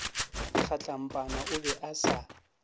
kgatlampana o be a sa